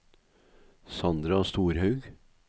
Sandra Storhaug